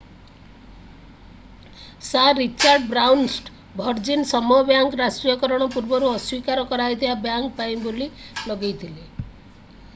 sir Richard ବ୍ରାନସନ୍ଙ୍କ Virgin ସମୂହ ବ୍ୟାଙ୍କର ରାଷ୍ଟ୍ରୀୟକରଣ ପୂର୍ବରୁ ଅସ୍ଵୀକାର କରାଯାଇଥିବା ବ୍ୟାଙ୍କ୍ ପାଇଁ ବୋଲି ଲଗେଇଥିଲା